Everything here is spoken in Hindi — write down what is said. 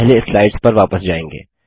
पहले स्लाइड्स पर वापस जायेंगे